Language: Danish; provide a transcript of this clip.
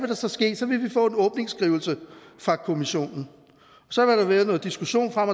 der så ske så ville vi få en åbningsskrivelse fra kommissionen så vil der være noget diskussion frem